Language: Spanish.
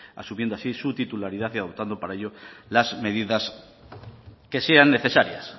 asumiendo así su titularidad y adoptando para ello las medidas que sean necesarias